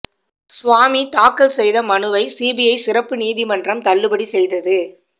சுவாமி தாக்கல் செய்த மனுவை சிபிஐ சிறப்பு நீதிமன்றம் தள்ளுபடி செய்தது